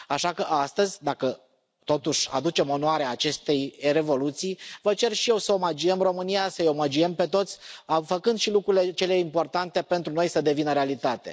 Așa că astăzi, dacă totuși aducem onoarea acestei Revoluții, vă cer și eu să omagiem România, să îi omagiem pe toți făcând și ca lucrurile importante pentru noi să devină realitate.